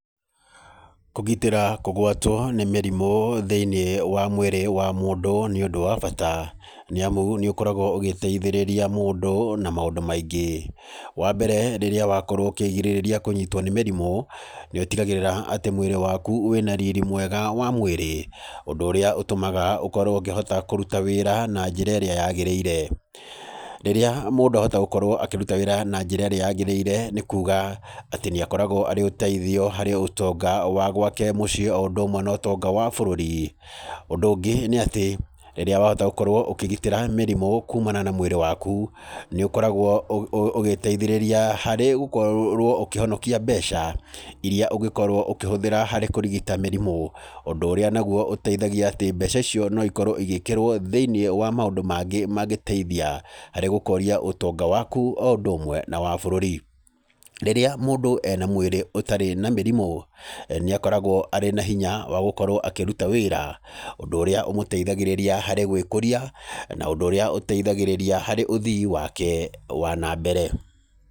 Kũgitĩra kũgwatwo nĩ mĩrimũ thĩiniĩ wa mwĩrĩ wa mũndũ, nĩ ũndũ wa bata. Nĩ amu nĩ ũkoragwo ũgĩteithĩrĩria mũndũ na maũndũ maingĩ. Wa mbere rĩrĩa wakorwo ũkĩgirĩrĩria kũnyitwo nĩ mĩrimũ, nĩ ũtigagĩrĩra atĩ mwĩrĩ waku wĩna riri mwega wa mwĩrĩ, ũndũ ũrĩa ũtũmaga ũkorwo ũkĩhota kũruta wĩra na njĩra ĩrĩa yagĩrĩire. Rĩrĩa mũndũ ahota gũkorwo akĩruta wĩra na njĩra ĩrĩa yagĩrĩire nĩ kuuga atĩ nĩ akoragwo arĩ ũteithio harĩ ũtonga wa gwake mũciĩ o ũndũ ũmwe na ũtonga wa bũrũri. Ũndũ ũngĩ nĩ atĩ, rĩrĩa wahota gũkorwo ũkĩgitĩra mĩrimũ kumana na mwĩrĩ waku, nĩ ũkoragwo ũgĩteithĩrĩria harĩ gũkorwo ũkĩonokia mbeca irĩa ũngĩkorwo ũkĩhũthĩra harĩ kũrigita mĩrimũ. Ũndũ ũrĩa naguo ũteithagia atĩ mbeca icio no ikorwo igĩkĩrwo thĩiniĩ wa maũndũ mangĩ mangĩteithia harĩ gũkũria ũtonga waku o ũndũ ũmwe na wa bũrũri. Rĩrĩa mũndũ ena mwĩrĩ ũtarĩ na mĩrimũ, nĩ akoragwo arĩ na hinya wa gũkorwo akĩruta wĩra, ũndũ ũrĩa ũmũteithagĩrĩria harĩ gwĩkũria, na ũndũ ũrĩa ũteithagĩrĩria harĩ ũthii wake wa na mbere.